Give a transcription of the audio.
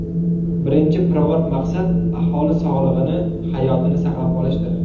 Birinchi pirovard maqsad aholi sog‘lig‘ini, hayotini saqlab qolishdir.